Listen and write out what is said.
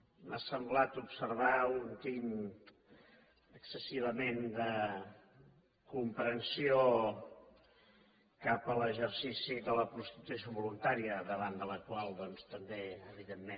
m’ha semblat observar un tint excessivament de comprensió cap a l’exercici de la prostitució voluntària davant de la qual doncs també evidentment